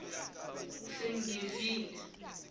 sengivile